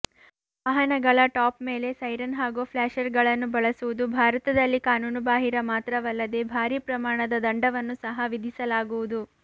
ವಾಹನಗಳ ಟಾಪ್ ಮೇಲೆ ಸೈರನ್ ಹಾಗೂ ಫ್ಲಾಶರ್ಗಳನ್ನು ಬಳಸುವುದು ಭಾರತದಲ್ಲಿ ಕಾನೂನುಬಾಹಿರ ಮಾತ್ರವಲ್ಲದೇ ಭಾರೀ ಪ್ರಮಾಣದ ದಂಡವನ್ನು ಸಹ ವಿಧಿಸಲಾಗುವುದು